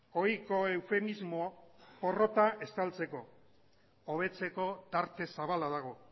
ohiko eufemismoa porrota estaltzeko hobetzeko tarte zabala dago